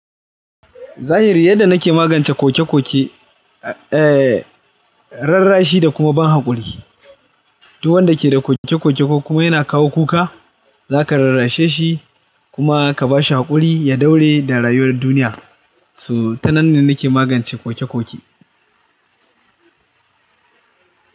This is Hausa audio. Zahiri yadda nake magance kokekoke, eh, rarrashi da kuma ban haƙuri. Duk wanda ke da kokekoke ko kuma yana kawo kuka, za ka rarrashe shi kuma ka ba shi haƙuri ya daure da rayuwar duniya. So ta nan ne nake magance kokekoke.